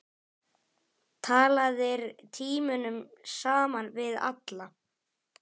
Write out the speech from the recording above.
Talaðir tímunum saman við alla.